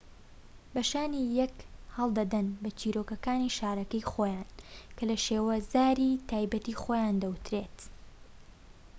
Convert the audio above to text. بە شانی یەک هەڵدەدەن بە چیرۆكەكانی شارەکەی خۆیان کە لە شێوەزاری تایبەتی خۆیان دەوترێت